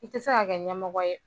I tɛ se ka kɛ ɲɛmɔgɔ ye.